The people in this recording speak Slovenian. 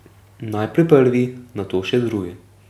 Najprej prvi, nato še drugi.